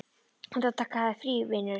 Þú ættir að taka þér frí, vinurinn.